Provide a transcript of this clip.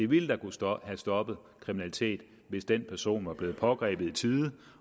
ville have stoppet stoppet kriminalitet hvis den person var blevet pågrebet i tide